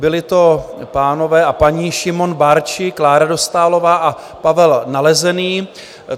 Byli to pánové a paní Šimon Barczi, Klára Dostálová a Pavel Nalezený.